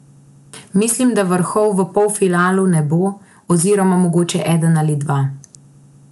Mislim, da vrhov v polfinalu ne bo, oziroma mogoče eden ali dva.